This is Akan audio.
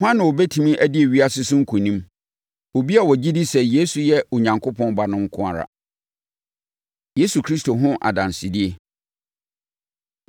Hwan na ɔbɛtumi adi ewiase so nkonim? Obi a ɔgye di sɛ Yesu yɛ Onyankopɔn Ba no nko ara. Yesu Kristo Ho Adansedie